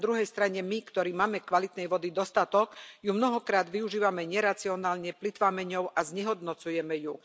Na druhej strane my, ktorí máme kvalitnej vody dostatok, ju mnohokrát využívame neracionálne, plytváme ňou a znehodnocujeme ju.